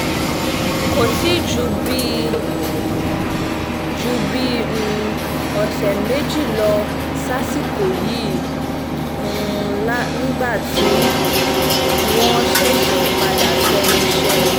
kò tí ì ju bíi ju bíi um ọ̀sẹ̀ méjì lọ sásìkò yìí um nígbà tí wọ́n ṣẹ̀ṣẹ̀ padà sẹ́nu iṣẹ́ wọn